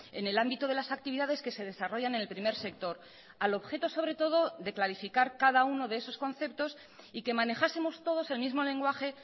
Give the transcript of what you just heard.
en el ámbito de las actividades que se desarrollan en el primer sector al objeto sobre todo de clarificar cada uno de esos conceptos y que manejásemos todos el mismo lenguaje